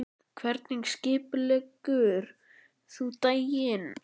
Hvernig skipuleggur þú daginn?